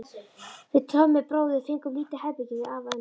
Við Tommi bróðir fengum lítið herbergi hjá afa og ömmu.